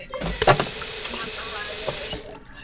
Ég held að það hafi verið uppi á fjallinu.